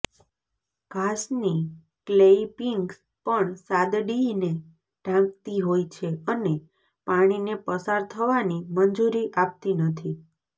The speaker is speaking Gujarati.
ઘાસની ક્લેઇપીંગ્સ પણ સાદડીને ઢાંકતી હોય છે અને પાણીને પસાર થવાની મંજૂરી આપતી નથી